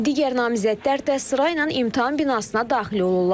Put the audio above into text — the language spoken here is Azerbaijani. Digər namizədlər də sırayla imtahan binasına daxil olurlar.